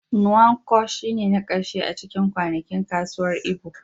Nkwo shine na karshe a cikin kwanakin kasuwar Igbo.